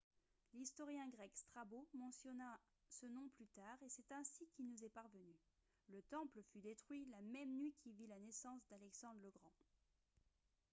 l'historien grec strabo mentionna ce nom plus tard et c'est ainsi qu'il nous est parvenu le temple fut détruit la même nuit qui vit la naissance d'alexandre le grand